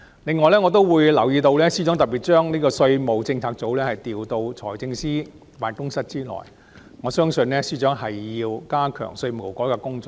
此外，我亦留意到司長將稅務政策組調到財政司司長辦公室轄下，我相信司長是要加強稅務改革的工作。